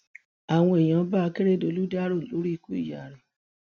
àwọn èèyàn bá akérèdọlù dárò lórí ikú ìyá rẹ